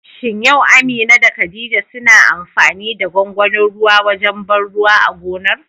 Shin yau Amina da khadija suna amfani da gwagwanin ruwa wajen ban ruwa a gonar?